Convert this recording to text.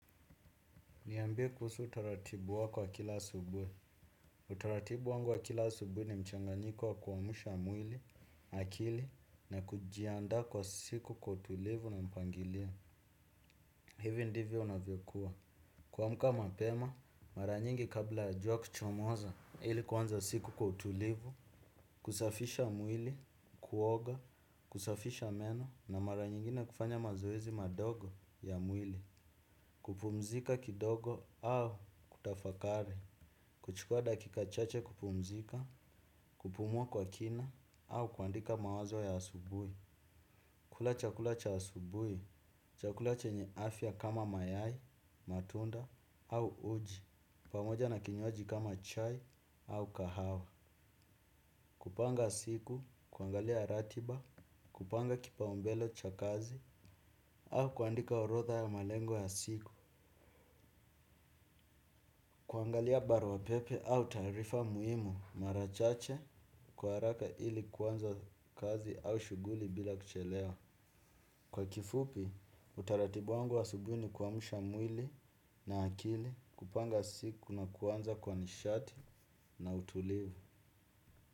Niambie kuhusu utaratibu wako wa kila asubuhi. Utaratibu wangu wa kila asubuhi ni mchanganyiko wa kuamsha mwili, akili, na kujiandaa kwa siku kwa utulivu na mpangilio. Hivi ndivyo unavyokuwa. Kuamka mapema, mara nyingi kabla ya jua kuchomoza ili kuanza siku kwa utulivu, kusafisha mwili, kuoga, kusafisha meno, na mara nyingine kufanya mazoezi madogo ya mwili. Kupumzika kidogo au kutafakari kuchukua dakika chache kupumzika kupumua kwa kina au kuandika mawazo ya asubuhi kula chakula cha asubuhi chakula chenye afya kama mayai, matunda au uji pamoja na kinywaji kama chai au kahawa kupanga siku, kuangalia ratiba, kupanga kipaumbele cha kazi au kuandika orodha ya malengo ya siku kuangalia barua pepe au taarifa muhimu mara chache kwa haraka ili kuanza kazi au shughuli bila kuchelewa. Kwa kifupi, utaratibu wangu wa asubuhi ni kuamsha mwili na akili, kupanga siku na kuanza kwa nishati na utulivu.